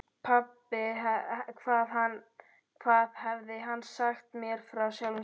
Pabbi, hvað hafði hann sagt mér frá sjálfum sér?